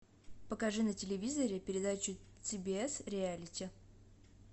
покажи на телевизоре передачу си би с реалити